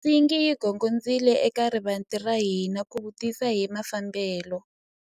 Nsingi yi gongondzile eka rivanti ra hina ku vutisa hi mafambelo.